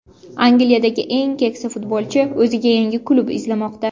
Angliyadagi eng keksa futbolchi o‘ziga yangi klub izlamoqda.